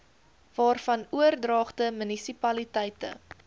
waarvan oordragte munisipaliteite